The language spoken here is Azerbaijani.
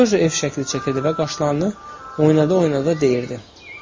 Seryoja ev şəkli çəkirdi və qaşlarını oynada-oynada deyirdi: